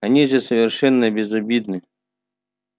они же совершенно безобидны